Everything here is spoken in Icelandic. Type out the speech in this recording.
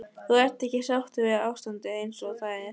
Þú ert ekki sáttur við ástandið eins og það er?